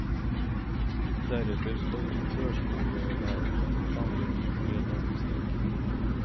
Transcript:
Deretter skal førskolelærerne planlegge i tre dager i strekk.